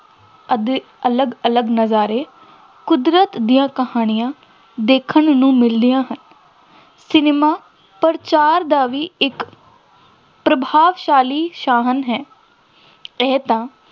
ਅਤੇ ਅਧ~ ਅਲੱਗ ਅਲੱਗ ਨਜ਼ਾਰੇ, ਕੁਦਰਤ ਦੀਆਂ ਕਹਾਣੀਆਂ ਦੇਖਣ ਨੂੰ ਮਿਲਦੀਆਂ ਹਨ, ਸਿਨੇਮਾ ਪ੍ਰਚਾਰ ਦਾ ਵੀ ਇੱਕ ਪ੍ਰਭਾਵਸ਼ਾਲੀ ਸਾਧਨ ਹੈ, ਇਹ ਤਾਂ